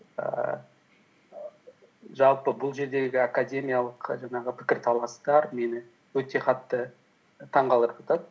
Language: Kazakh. ііі жалпы бұл жердегі академиялық жаңағы пікірталастар мені өте қатты таңғалдырып жатады